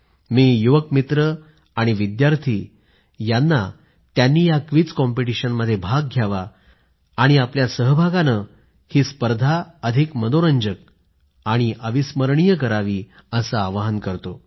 मी युवा मित्र विद्यार्थी यांना त्यांनी या क्विझ कॉम्पिटीशनमध्ये भाग घ्यावा आणि आपल्या सहभागानं स्पर्धेला अधिक मनोरंजक आणि अविस्मरणीय करावे अस आवाहन करतो